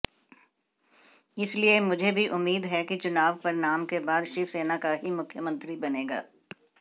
इसलिए मुझे भी उम्मीद है कि चुनाव परिणाम के बाद शिवसेना का ही मुख्यमंत्री बनेगा